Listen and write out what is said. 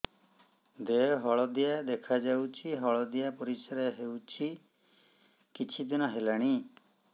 ଦେହ ହଳଦିଆ ଦେଖାଯାଉଛି ହଳଦିଆ ପରିଶ୍ରା ହେଉଛି କିଛିଦିନ ହେଲାଣି